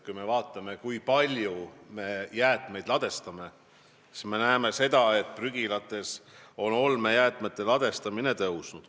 Kui me vaatame, kui palju me jäätmeid ladestame, siis me näeme, et prügilates on olmejäätmete ladestamine kasvanud.